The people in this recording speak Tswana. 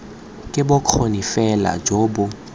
ke bokgoni bofe jo bo